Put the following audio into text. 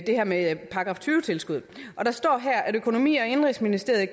det her med § tyve tilskuddet og der står her at økonomi og indenrigsministeriet i